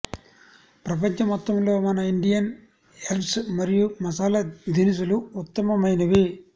ప్రపంచం మొత్తంలో మన ఇండియన్ హెర్బ్స్ మరియు మసాలా దినుసులు ఉత్తమమైనవి